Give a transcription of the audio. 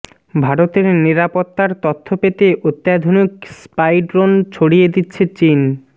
ভারতের নিরাপত্তার তথ্য পেতে অত্যাধুনিক স্পাই ড্রোন ছড়িয়ে দিচ্ছে চিন